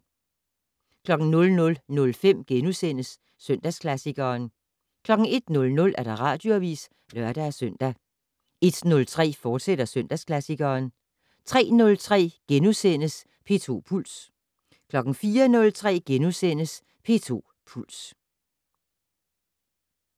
00:05: Søndagsklassikeren * 01:00: Radioavis (lør-søn) 01:03: Søndagsklassikeren, fortsat 03:03: P2 Puls * 04:03: P2 Puls *